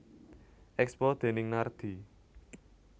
Expo déning Nardi